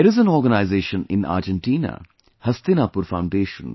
There is an organization in Argentina Hastinapur Foundation